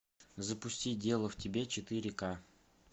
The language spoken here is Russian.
запусти дело в тебе четыре ка